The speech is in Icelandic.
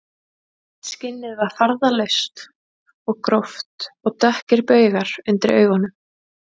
Skinnið var farðalaust og gróft og dökkir baugar undir augunum